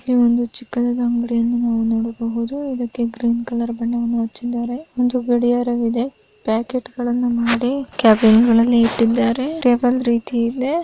ಈ ಒಂದು ಚಿಕ್ಕದಾದ ಅಂಗಡಿಯನ್ನು ನಾವು ನೋಡಬಹುದು. ಇದ್ದಕ್ಕೆ ಗ್ರೀನ್ ಕಲರ್ ಬಣ್ಣವನ್ನು ಹಚ್ಚಿದ್ದಾರೆ. ಒಂದು ಗಡಿಯಾರವಿದೆ. ಪ್ಯಾಕೆಟ್ ಗಳನ್ನ ಮಾಡಿ ಕ್ಯಾಬಿನ್ ಗಳಲ್ಲಿ ಇಟ್ಟಿದ್ದಾರೆ. ಟೇಬಲ್ ರೀತಿ ಇದೆ .